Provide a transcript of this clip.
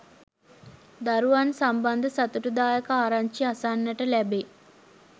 දරුවන් සම්බන්ධ සතුටුදායක ආරංචි අසන්නට ලැබේ.